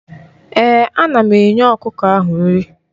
Ee, ana m enye ọkụkọ ahụ nri.